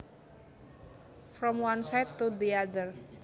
From one side to the other